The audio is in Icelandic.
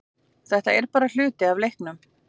Þetta er bara hluti af leiknum